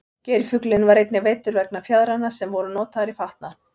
geirfuglinn var einnig veiddur vegna fjaðranna sem voru notaðar í fatnað